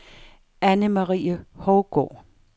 Annemarie Hougaard